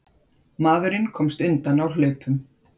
Maðurinn komst undan á hlaupum.